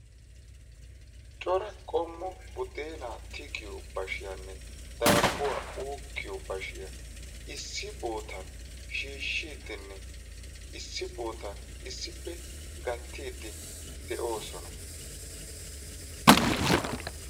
cora qommo budenaa tigiyoo bashiyaanne dabbuwaa uukkiyoo baashiyaa issi boottan issippe gattiidi de'oosona.